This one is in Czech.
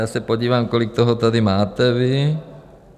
Já se podívám, kolik toho tady máte vy.